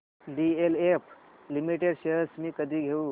DLF limited shares मी कधी घेऊ